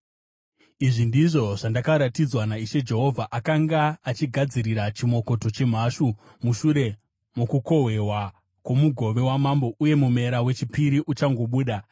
Izvi ndizvo zvandakaratidzwa naIshe Jehovha: Akanga achigadzirira chimokoto chemhashu mushure mokukohwewa kwomugove wamambo uye mumera wechipiri uchangobuda.